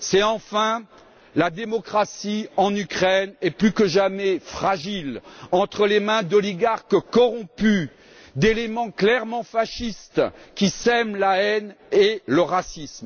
Enfin, la démocratie en Ukraine est plus que jamais fragile entre les mains d'oligarques corrompus, d'éléments clairement fascistes qui sèment la haine et le racisme.